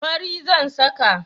Fari zan saka.